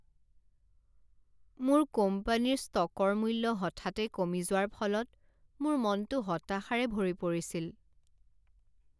মোৰ কোম্পানীৰ ষ্টকৰ মূল্য হঠাতে কমি যোৱাৰ ফলত মোৰ মনটো হতাশাৰে ভৰি পৰিছিল।